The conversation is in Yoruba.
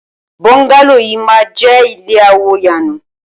Bọ́ńgálò yìí máa jẹ́ ilé àwò yanu.